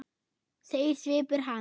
segir svipur hans.